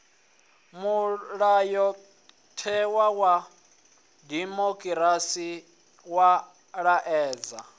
mulayotewa wa dimokirasi wa laedza